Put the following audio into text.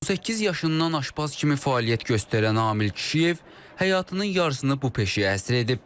18 yaşından aşpaz kimi fəaliyyət göstərən Amil kişi həyatının yarısını bu peşəyə həsr edib.